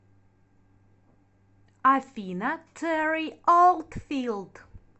афина терри олдфилд